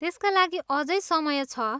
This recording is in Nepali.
त्यसका लागि अझै समय छ।